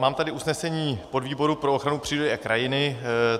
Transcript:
Mám tady usnesení podvýboru pro ochranu přírody a krajiny.